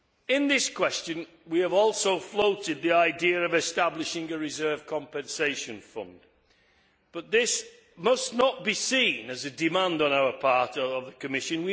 In this question we have also floated the idea of establishing a reserve compensation fund, but this must not be seen as a demand on our part or by the Commission.